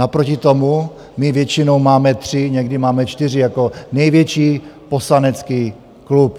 Naproti tomu my většinou máme tři, někdy máme čtyři jako největší poslanecký klub.